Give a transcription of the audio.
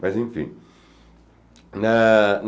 Mas, enfim. Ah